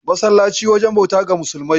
Masallaci wajen bauta ga musulmai.